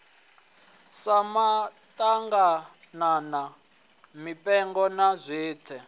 sa maḓaganana mipengo na zwiṋwe